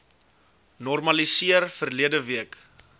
normaliseer verlede week